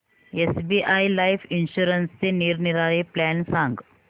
SBI life इन्शुरन्सचे निरनिराळे plan सांग